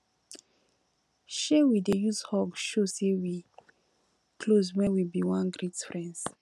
um we dey use hug show sey wey close wen we bin wan greet friends